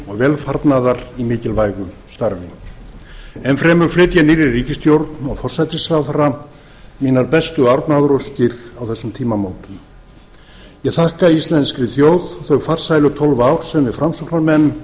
velfarnaðar í mikilvægu starfi enn fremur flyt ég nýrri ríkisstjórn og forsætisráðherra mínar bestu árnaðaróskir á þessum tímamótum ég þakka íslenskri þjóð þau farsælu tólf ár sem við framsóknarmenn